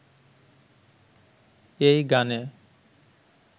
এই গানে